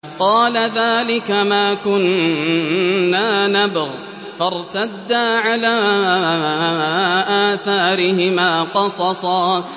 قَالَ ذَٰلِكَ مَا كُنَّا نَبْغِ ۚ فَارْتَدَّا عَلَىٰ آثَارِهِمَا قَصَصًا